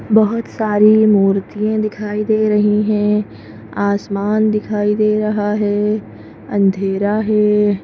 बहुत सारी मूर्तियाँ दिखाई दे रही हैं आसमान दिखाई दे रहा है अंधेरा है।